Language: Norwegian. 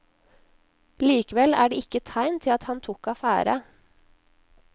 Likevel er det ikke tegn til at han tok affære.